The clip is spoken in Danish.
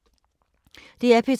DR P2